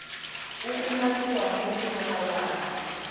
o umakiwang mo go molawana